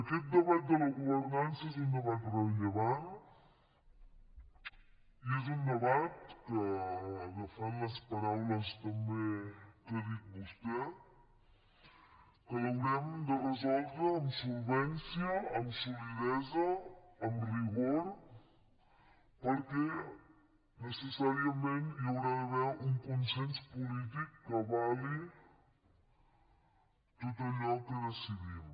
aquest debat de la governança és un debat rellevant i és un debat que agafant les paraules també que ha dit vostè l’haurem de resoldre amb solvència amb solidesa amb rigor perquè necessàriament hi haurà d’haver un consens polític que avali tot allò que decidim